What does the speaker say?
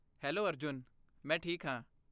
Hello Arjun! ਮੈਂ ਠੀਕ ਹਾਂ।